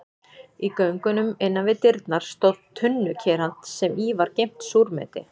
Í göngunum innan við dyrnar stóð tunnukerald sem í var geymt súrmeti.